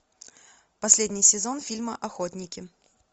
последний сезон фильма охотники